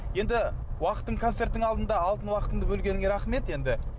енді концерттің алдында алтын уақытыңды бөлгеніңе рахмет енді